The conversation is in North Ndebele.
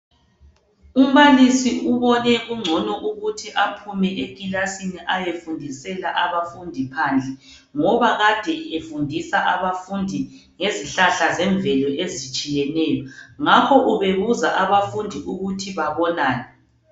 Umbalisi ubone kungcono ukuthi aphume ekilasini ayefundisela abafundi phandle ngoba ade efundisa abafundi ngezihlahla zemvelo ezitshiyeneyo ngakho ubebuza abafundi ukuthi babonani.